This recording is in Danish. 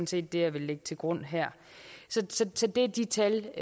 set det jeg vil lægge til grund her det er de tal